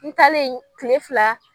N talen kile fila.